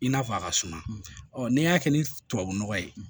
I n'a fɔ a ka suma ɔ n'i y'a kɛ ni tubabu nɔgɔ ye